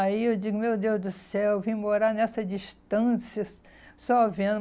Aí eu digo, meu Deus do céu, eu vim morar nessa distâncias só vendo.